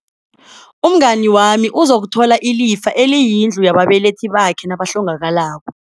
Umngani wami uzokuthola ilifa eliyindlu yababelethi bakhe nabahlongakalako.